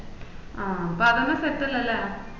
ആഹ് അപ്പൊ അതന്നെ set അല്ലേ